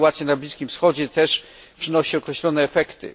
Sytuacja na Bliskim Wschodzie też przynosi określone efekty.